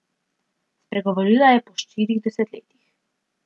Spregovorila je po štirih desetletjih.